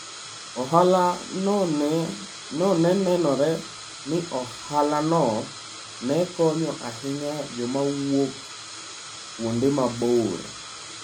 Ohala no ne nenore ni ohalano ne konyo ahinya joma wuok kuonde mabor.